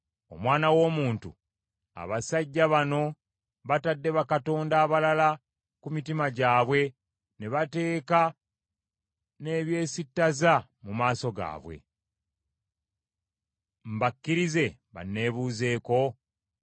“Omwana w’omuntu, abasajja bano batadde bakatonda abalala ku mitima gyabwe ne bateeka n’ebyesittaza mu maaso gaabwe. Mbakkirize banneebuuzeeko?